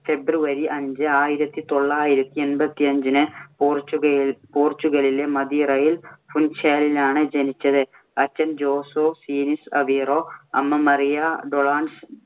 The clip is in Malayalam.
february അഞ്ച് ആയിരത്തി തൊള്ളായിരത്തി എമ്പത്തി അഞ്ചിന് പോര്‍ച്ചുഗയില്‍ പോര്‍ച്ചുഗലിലെ മദീറയിൽ ഫുൻ‌ചാലിലാണ് ജനിച്ചത്. അച്ഛൻ ജോസേ ഡീനിസ് അവീറോ, അമ്മ മറിയ ഡൊളോറസ്